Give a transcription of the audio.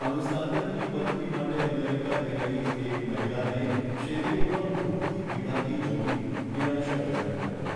અનુસ્નાતકની પદવી માટે અમેરિકા ગયેલી એક મહિલાને શેરીઓમાં ભૂખથી પીડાતી જોવી નિરાશાજનક હતું.